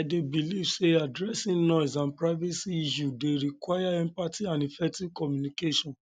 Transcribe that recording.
i dey believe say addressing noise and privacy issues dey require empathy and effective communication